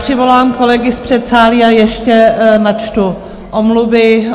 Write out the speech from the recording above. Přivolám kolegy z předsálí a ještě načtu omluvy.